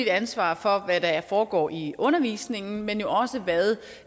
ansvar for hvad der foregår i undervisningen men jo også for hvad